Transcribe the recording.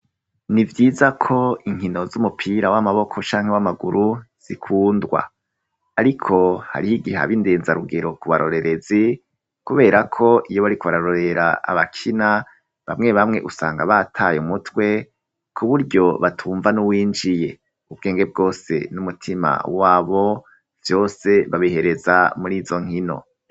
Ni vyiza ko inkino z'umupira w'amaboko canke w'amaguru zikundwa. Ariko hariho igihe ab indenzarugero ku barorerezi, kubera ko iyo bariko bararorera abakina, bamwe bamwe usanga bataye umutwe, kuburyo batumva n'uwinjiye. Ubwenge bwose n'umutima wabo vyose babihereza muri izo nkino.